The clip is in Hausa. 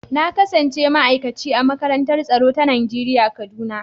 Na kasance ma'aikaci a makarantar tsaro ta Najeriya kaduna.